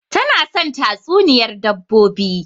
Tana son tatsuniyar dabbobi